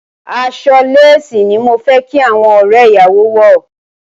Aṣọ lésìì ní mo fẹ́ kí àwọn ọ̀rẹ́ ìyàwó wọ̀.